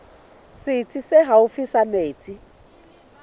setsi se haufi sa mesebetsi